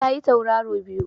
Ta yi Tauraro biyu